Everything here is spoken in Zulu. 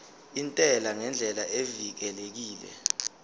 intela ngendlela evikelekile